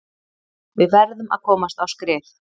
Við verðum að komast á skrið.